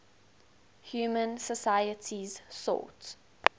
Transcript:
human societies sought